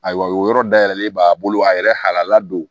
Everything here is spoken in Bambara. Ayiwa o yɔrɔ dayɛlɛlen b'a bolo a yɛrɛ hala don